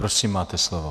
Prosím, máte slovo.